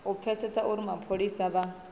u pfesesa uri mapholisa vha